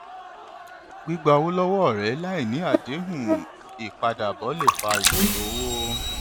gbígba owó lọwọ ọrẹ láì ní àdéhùn ìpadàbọ lè fa ìṣòro owó